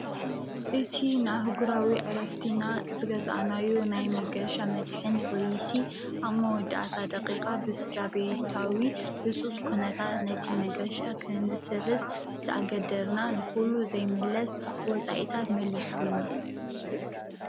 እቲ ንኣህጕራዊ ዕረፍትና ዝገዛእናዩ ናይ መገሻ መድሕን ፖሊሲ ኣብ መወዳኣታ ደቒቓ ብስድራ ቤታዊ ህፁፅ ኲነታት ነቲ መገሻ ኽንስርዝ ምስኣገደደና ንዂሉ ዘይምለስ ወፃኢታት መሊሱልና፡፡